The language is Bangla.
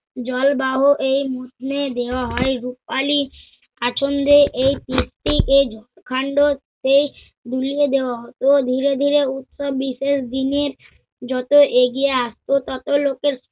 জলবাহ এই মৌসুমে দেওয়া হয় রুপালি আছন্দে এই মূর্তি এই ঝোপকান্ড হতে বুলিয়ে দেয়া হতো। ধিরে ধিরে উক্ত বিশেষ দিনের যত এগিয়ে আসবে তত লোকের